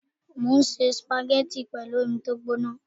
Mo ń se sùpàgẹ́tì pẹ̀lú omi tó gbóná